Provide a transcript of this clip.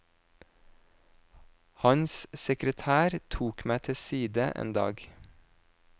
Hans sekretær tok meg til side en dag.